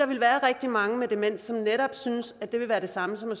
vil være rigtig mange med demens som netop synes at det vil være det samme som at